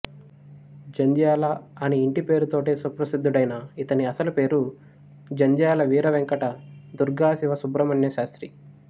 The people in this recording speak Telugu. జంధ్యాల అని ఇంటిపేరుతోటే సుప్రసిద్ధుడైన ఇతని అసలుపేరు జంధ్యాల వీర వెంకట దుర్గా శివ సుబ్రహ్మణ్య శాస్త్రి